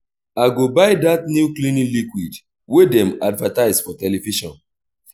i go buy dat new cleaning liquid wey dem advertise for television.